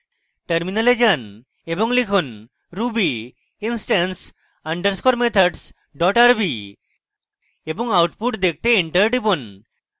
terminal যান এবং লিখুন ruby instance _ methods rb এবং output দেখতে enter টিপুন